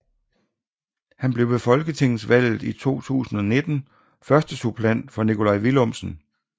Han blev ved Folketingsvalget 2019 førstesuppleant for Nikolaj Villumsen